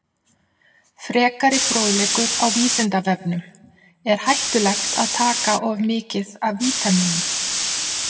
Frekari fróðleikur á Vísindavefnum: Er hættulegt að taka of mikið af vítamínum?